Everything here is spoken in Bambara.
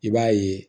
I b'a ye